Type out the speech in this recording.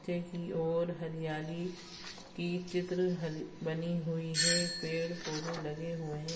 पीछे की ओर हरियाली की चित्र हरी बनी हुई है पेड-पौधे लगे हुए है।